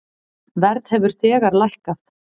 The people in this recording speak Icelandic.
Verð hefur þegar lækkað.